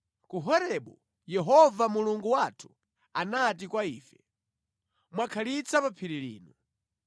Ku Horebu, Yehova Mulungu wathu anati kwa ife, “Mwakhalitsa pa phiri lino.